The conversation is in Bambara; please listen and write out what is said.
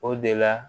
O de la